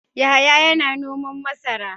Yahaya yana noman masara.